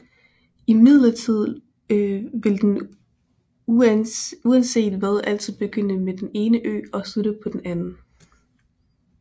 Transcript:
Imidlertid vil den uanset hvad altid begynde på den ene ø og slutte på den anden